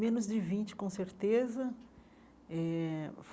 Menos de vinte, com certeza eh.